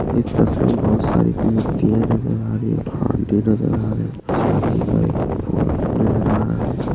इस तस्वीर मे बहुत सारी मूर्तिया नजर आ रही है नजर आ रहे है चाँदी का एक फूल नजर आ रहा है।